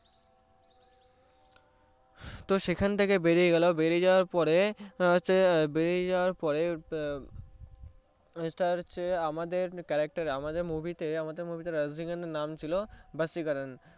তো সেখান থেকে বেরিয়ে গেলো বেরিয়ে যাওয়ার পরে বেরিয়ে যাওয়ার পরে আমাদের character এ আমাদের movie তে রাজনীকান্থের নাম ছিলো ভাসিকারান